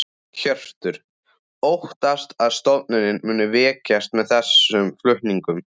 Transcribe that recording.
Hjörtur: Óttastu að stofnunin muni veikjast með þessum flutningum?